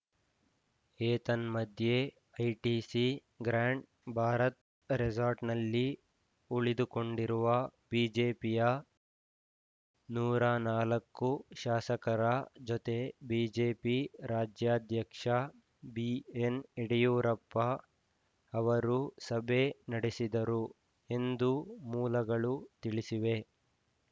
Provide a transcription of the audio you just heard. ಏತನ್ಮಧ್ಯೆ ITC Grand Bharat ರೆಸಾರ್ಟ್‌ನಲ್ಲಿ ಉಳಿದುಕೊಂಡಿರುವ ಬಿಜೆಪಿಯ ನೂರ ನಾಲ್ಕು ಶಾಸಕರ ಜೊತೆ ಬಿಜೆಪಿ ರಾಜ್ಯಾಧ್ಯಕ್ಷ ಬಿಏನ್ ಯಡಿಯೂರಪ್ಪ ಅವರು ಸಭೆ ನಡೆಸಿದರು ಎಂದು ಮೂಲಗಳು ತಿಳಿಸಿವೆ